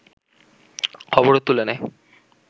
অবরোধ তুলে নেয়